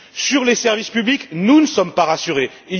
Sur les services publics, nous ne sommes pas rassurés non plus.